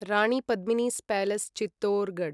Rani Padmini's palace Chittorgarh